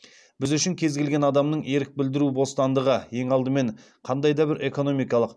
біз үшін кез келген адамның ерік білдіру бостандығы ең алдымен қандай да бір экономикалық